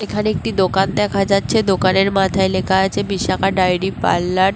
এখানে একটি দোকান দেখা যাচ্ছে. দোকানের মাথায় লেখা আছে বিশাখা ডায়েরী পাল্লার ।